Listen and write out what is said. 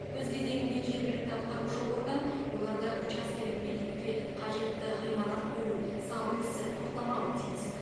өз кезегінде жергілікті атқарушы орган оларды учаскелік бекетқа қажетті ғимарат бөлу салу ісі тоқтамауы тиіс